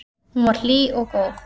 Hún var hlý og góð.